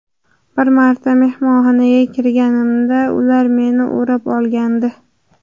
Bir marta mehmonxonaga kirganimda ular meni o‘rab olgandi.